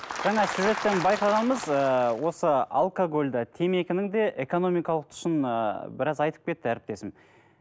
жаңа сюжеттен байқағанымыз ыыы осы алкогольді темекінің де экономикалық тұсын ыыы біраз айтып кетті әріптесім